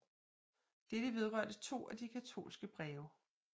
Dette vedrørte to af de katolske breve